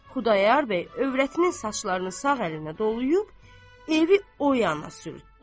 Xudayar bəy övrətinin saçlarını sağ əlinə dolayıb, evi o yana sürtdü.